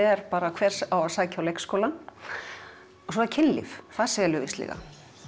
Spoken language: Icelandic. er hver á að sækja í leikskólann og svo er kynlíf það selur víst líka